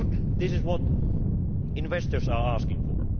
This is what investors are asking for.